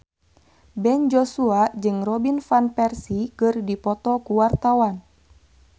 Ben Joshua jeung Robin Van Persie keur dipoto ku wartawan